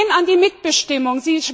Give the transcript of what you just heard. Sie gehen an die Mitbestimmung.